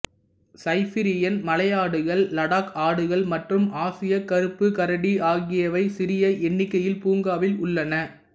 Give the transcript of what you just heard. Siberian மலையாடுகள் லடாக் ஆடுகள் மற்றும் ஆசிய கருப்பு கரடி ஆகியவை சிறிய எண்ணிக்கையில் பூங்காவில் உள்ளன